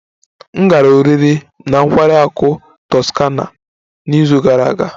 M gara oriri na nkwari akụ Toscana n'izu gara aga